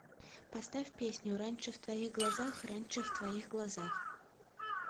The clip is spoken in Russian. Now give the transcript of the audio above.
поставь песню раньше в твоих глазах раньше в твоих глазах